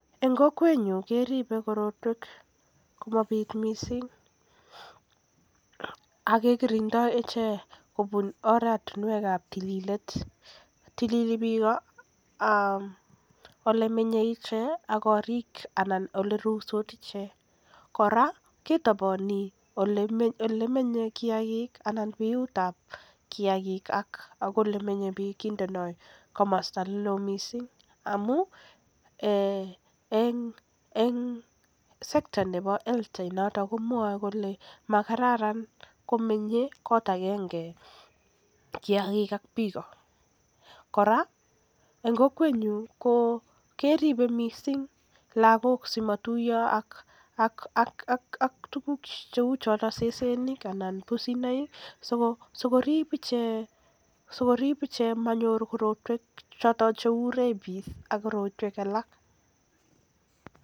En kokwenyun keribe korotwek komabit missing akekirindoi ichek kobun oret ab tililet, tilili biik ole menye ichek korik anan ole ruitos ichek, kora kitoboni biyut ab kiagik ak ole menye biik kindoi ole loo missing, en sector nebo health komwoe kole monyolu komenye kot agenge kiagik ak biik, kora monyolu kotuiyo lagok ak sesenik ak pusinoik asimonyor ichek Rabis anan myonwogik alak.